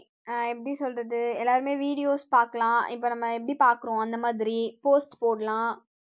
அஹ் எப்படி சொல்றது எல்லாருமே videos பாக்கலாம் இப்ப நம்ம எப்படி பாக்குறோம் அந்த மாதிரி post போடலாம்